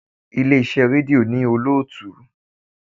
Ilé iṣẹ́ rédíò ní olótùú.